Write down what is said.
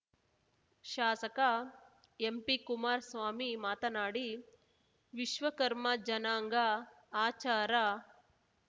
ಶಾಸಕ ಎಂಪಿಕುಮಾರ್ ಸ್ವಾಮಿ ಮಾತನಾಡಿ ವಿಶ್ವಕರ್ಮ ಜನಾಂಗ ಆಚಾರ